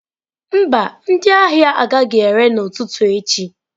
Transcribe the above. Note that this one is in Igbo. Mba, ndị ahịa agaghị ere n'ụtụtụ echi.